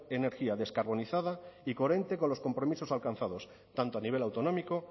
energía descarbonizada y coherente con los compromisos alcanzados tanto a nivel autonómico